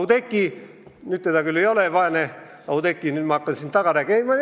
Oudekkit küll saalis ei ole ja nüüd ma hakkan vaest Oudekkit taga rääkima.